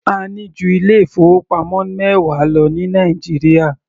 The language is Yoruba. A ní ju ilé ìfowópamọ́ mẹwa lọ ní Nàìjíríà.